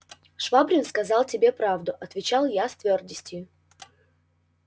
швабрин сказал тебе правду отвечал я с твёрдостию